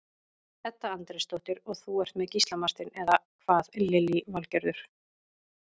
Edda Andrésdóttir: Og þú ert með Gísla Martein, eða hvað Lillý Valgerður?